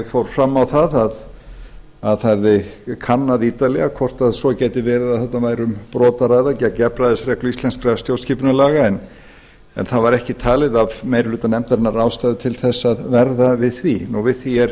fór fram á að það yrði kannað ítarlega hvort svo gæti verið að þarna væri um brot að ræða gegn jafnræðisreglu íslenskra stjórnskipunarlaga en það var ekki talið af meiri hluta nefndarinnar ástæða til að verða við því við því er